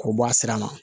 K'o bɔ a sira kan